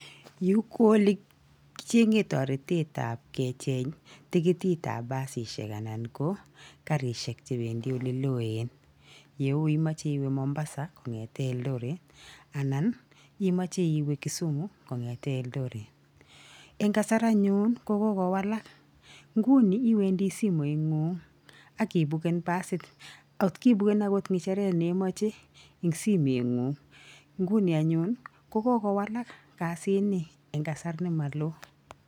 Yuu ko ole kichengen toretet ab kecheng tikitit ab basisiek ann ko garishek chependii ole loen leu imoche mombasa kongeten eldoret anan imoche iwe kisumu kongeten eldoret, en kasar anyun kokokowalal nguni iwendii simoit inguny ak ipuken basit kot ibuken okot ngecheret ne imoche en simoit nguny nguni anyun kokokowalal kasini en kasar nemoloo.